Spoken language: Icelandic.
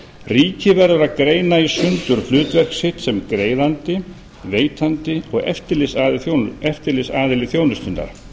ríkið verður að greina í sundur hlutverk sitt sem greiðandi veitandi og eftirlitsaðili þjónustunnar